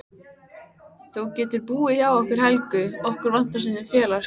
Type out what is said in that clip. Þú getur búið hjá okkur Helgu, okkur vantar stundum félagsskap.